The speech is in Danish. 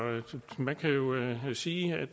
man kan jo sige at